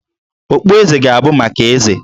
Okpueze ga-abụ maka Eze